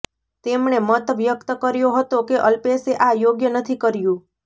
તેમણે મત વ્યક્ત કર્યો હતો કે અલ્પેશે આ યોગ્ય નથી કર્યું